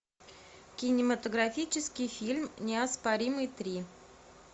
кинематографический фильм неоспоримый три